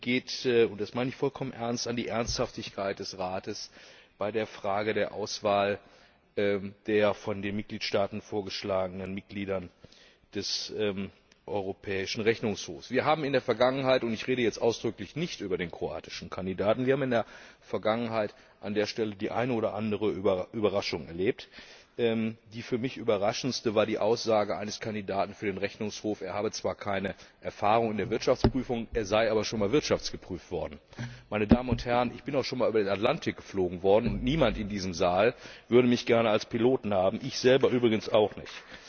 Sie betrifft und das meine ich vollkommen ernst die Ernsthaftigkeit des Rates bei der Frage der Auswahl der von den Mitgliedstaaten vorgeschlagenen Mitglieder des Europäischen Rechnungshofs. Wir haben in der Vergangenheit und ich rede jetzt ausdrücklich nicht über den kroatischen Kandidaten an der Stelle die eine oder andere Überraschung erlebt. Die für mich überraschendste war die Aussage eines Kandidaten für den Rechnungshof, er habe zwar keine Erfahrung in der Wirtschaftsprüfung, er sei aber schon mal wirtschaftsgeprüft worden. Ich bin auch schon einmal über den Atlantik geflogen worden, und niemand in diesem Saal würde mich gerne als Piloten haben, ich selber übrigens auch nicht.